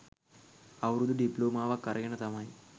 අවුරුදු ඩිප්ලෝමාවක් අරගෙන තමයි